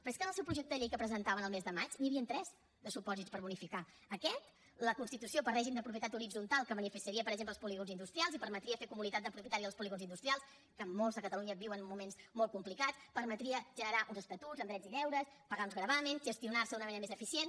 però és que en el seu projecte de llei que presentaven el mes de maig n’hi havien tres de supòsits per bonificar aquest la constitució per règim de propietat horitzontal que seria per exemple els polígons industrials i permetria fer comunitat de propietaris dels polígons industrials que molts a catalunya viuen moments molt complicats permetria generar uns estatuts amb drets i deures pagar uns gravàmens gestionar se d’una manera més eficient